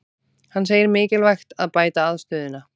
Hann segir mikilvægt að bæta aðstöðuna